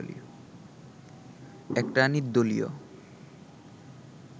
একটা নির্দলীয়